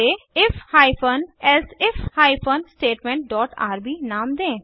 इसे if hyphen elsif hyphen statement dot RB नाम दें